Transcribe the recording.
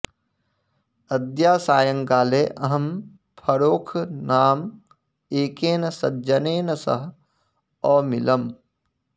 अद्य सायंकाले अहं फरोख नाम एकेन सज्जनेन सह अमिलम्